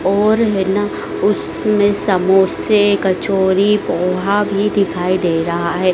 और है ना उसमें समोसे कचोरी पोहा भी दिखाई दे रहा है।